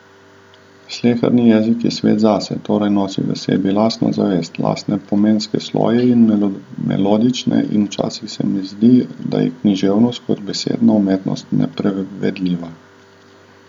Sleherni jezik je svet zase, torej nosi v sebi lastno zavest, lastne pomenske sloje in melodičnost, in včasih se mi zdi, da je književnost kot besedna umetnost neprevedljiva.